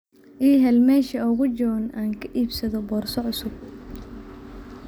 ii hel meesha ugu jaban oo aan ka iibsado boorso cusub